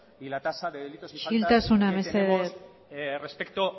y la tasa de delitos que tenemos isiltasuna mesesdez respecto